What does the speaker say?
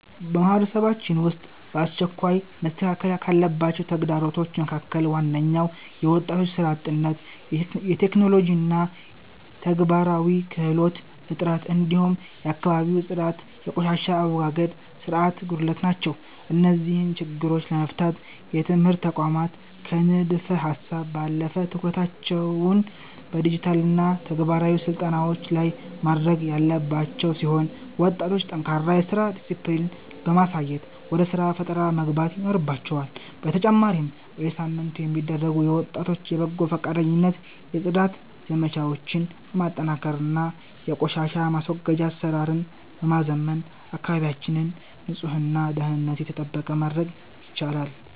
በማህበረሰባችን ውስጥ በአስቸኳይ መስተካከል ካለባቸው ተግዳሮቶች መካከል ዋነኞቹ የወጣቶች ሥራ አጥነት፣ የቴክኖሎጂና የተግባራዊ ክህሎት እጥረት፣ እንዲሁም የአካባቢ ጽዳትና የቆሻሻ አወጋገድ ሥርዓት ጉድለት ናቸው። እነዚህን ችግሮች ለመፍታት የትምህርት ተቋማት ከንድፈ-ሀሳብ ባለፈ ትኩረታቸውን በዲጂታልና ተግባራዊ ስልጠናዎች ላይ ማድረግ ያለባቸው ሲሆን፣ ወጣቶችም ጠንካራ የሥራ ዲስፕሊን በማሳየት ወደ ሥራ ፈጠራ መግባት ይኖርባቸዋል፤ በተጨማሪም በየሳምንቱ የሚደረጉ የወጣቶች የበጎ ፈቃደኝነት የጽዳት ዘመቻዎችን በማጠናከርና የቆሻሻ ማስወገጃ አሰራርን በማዘመን አካባቢያችንን ንጹህና ደህንነቱ የተጠበቀ ማድረግ ይቻላል።